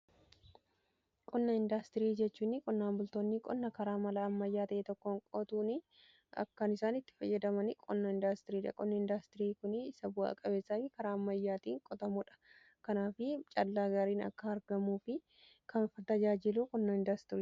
Qonna indaastirii jechuun qonnaan bultoonni qonna karaa mala ammayyaa ta'ee tokkon qotuun akkan isaan itti fayyadaman qonna indaastiriidha. Qonna indaastirii kun isa bu'aa-qabeessaafi karaa ammayyaatii qotamuudha Kanaafi callaa gaariin akka argamuu fi kan f tajaajiilu qonnaa indaastiriiti.